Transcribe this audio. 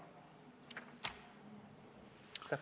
Aitäh!